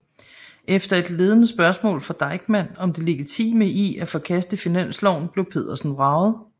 Efter et ledende spørgsmål fra Deichmann om det legitime i at forkaste finansloven blev Pedersen vraget